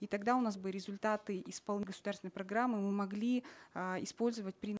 и тогда у нас бы результаты государственной программы мы могли э использовать при